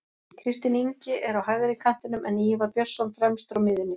Kristinn Ingi er á hægri kantinum en Ívar Björnsson fremstur á miðjunni.